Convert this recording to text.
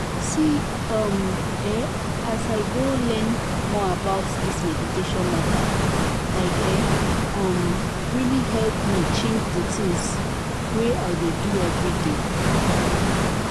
see um eeh as i go learn more about this meditation matter like e um really help me change di tins wey i dey do everday.